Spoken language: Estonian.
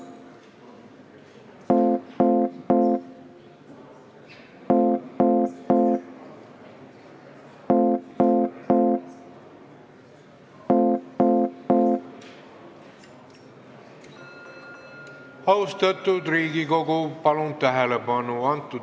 Austatud Riigikogu, palun tähelepanu!